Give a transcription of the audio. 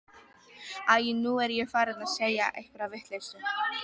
Æi, nú er ég farin að segja einhverja vitleysu.